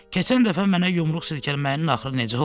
Keçən dəfə mənə yumruq silkələməyin axırı necə oldu?